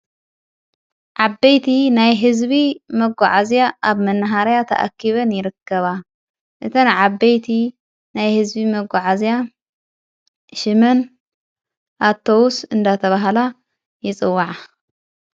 ዓበይቲ ናይ ሕዝቢ መጎዓእዝያ ኣብ መንሃርያ ተኣኪበን ይረከባ እተን ዓበይቲ ናይ ሕዝቢ መጕዓ እልያ ሽምን ኣቶውስ እንዳ ተብሃላ ይጽዋዓ።